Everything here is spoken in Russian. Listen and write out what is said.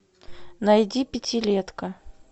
найди пятилетка